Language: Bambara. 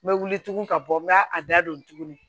N bɛ wuli tugun ka bɔ n ka a da don tuguni